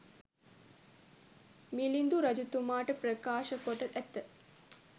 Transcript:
මිළිඳු රජතුමාට ප්‍රකාශ කොට ඇත.